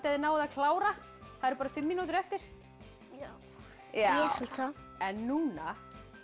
þið náið að klára það eru bara fimm mínútur eftir já núna